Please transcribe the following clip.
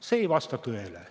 See ei vasta tõele.